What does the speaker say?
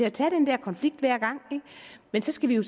at tage den der konflikt hver gang men så skal vi jo